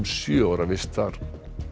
sjö ára vist þar